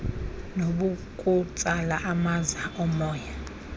nabokutsala amaza omoya